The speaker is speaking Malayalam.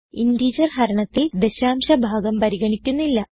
ഇന്റഗർ ഹരണത്തിൽ ദശാംശ ഭാഗം പരിഗണിക്കുന്നില്ല